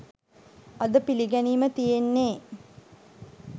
අද පිළිගැනීම තියෙන්නේ